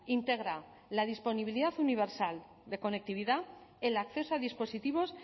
integra la disponibilidad universal de conectividad el acceso a dispositivos